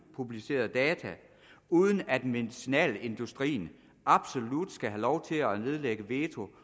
upublicerede data uden at medicinalindustrien absolut skal have lov til at nedlægge veto